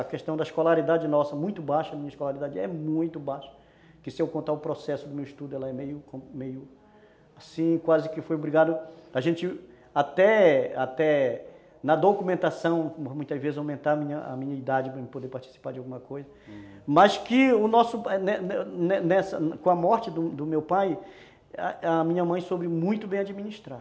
a questão da escolaridade nossa, muito baixa, a minha escolaridade é muito baixa, que se eu contar o processo do meu estudo, ela é meio, meio assim, quase que foi obrigado a gente até até na documentação, muitas vezes, aumentar a minha minha idade para eu poder participar de alguma coisa, ah, mas que com a morte do meu pai, a minha mãe soube muito bem administrar.